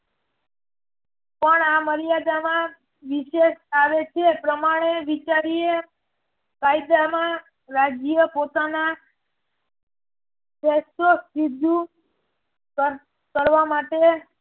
પણ આ મર્યાદામાં વિશેષ આવે છે પ્રમાણે વિચારીયે કાયદામાં રાજ્ય પોતાના કરવા માટે